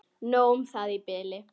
Nóg um það í bili.